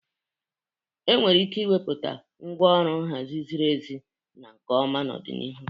Enwere ike ịmepụta ngwaọrụ nha ziri ezi na nke ọma n'ọdịnihu.